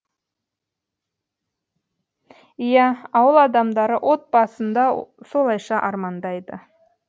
иә ауыл адамдары от басында солайша армандайды